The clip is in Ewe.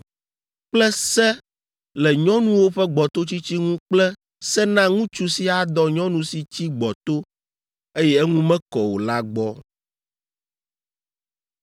kple se le nyɔnuwo ƒe gbɔtotsitsi ŋu kple se na ŋutsu si adɔ nyɔnu si tsi gbɔto, eye eŋu mekɔ o la gbɔ.